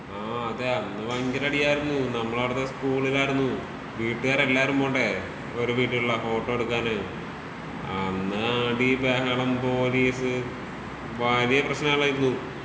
ആഹ് അതേ അന്ന് ഭയങ്കര അടിയായിരുന്നു. നമ്മളവിടുത്തെ സ്കൂളിലായിരുന്നു. വീട്ടുകാരെല്ലാരും പോണ്ടേ. ഒരു വീട്ടിലുള്ള ഫോട്ടോ എടുക്കാന്. അന്ന് അടി ബഹളം പോലീസ് വലിയ പ്രശ്നങ്ങളായിരുന്നൂ.